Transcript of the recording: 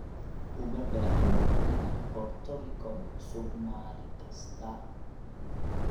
Uma baahnid inaad qorto rikoor cusub maalin kasta.